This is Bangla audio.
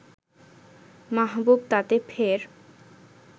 মাহবুব তাতে ফের